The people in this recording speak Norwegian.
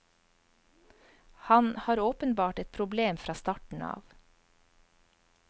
Han har åpenbart et problem fra starten av.